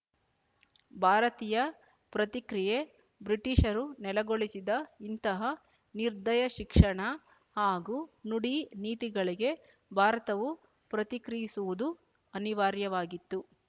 ಭಾರತೀಯ ಪ್ರತಿಕ್ರಿಯೆ ಬ್ರಿಟಿಶರು ನೆಲೆಗೊಳಿಸಿದ ಇಂತಹ ನಿರ್ದಯ ಶಿಕ್ಷಣ ಹಾಗೂ ನುಡಿ ನೀತಿಗಳಿಗೆ ಭಾರತವು ಪ್ರತಿಕ್ರಿಯಿಸುವುದು ಅನಿವಾರ್ಯವಾಗಿತ್ತು